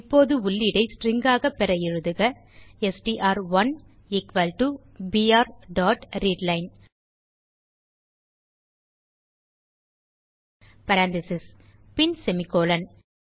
இப்போது உள்ளீடை ஸ்ட்ரிங் ஆக பெற எழுதுக எஸ்டிஆர்1 எக்குவல் டோ பிஆர் டாட் ரீட்லைன் பேரெந்தீசஸ் பின் செமிகோலன்